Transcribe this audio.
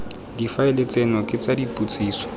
difaele tseno ke tsa dipotsiso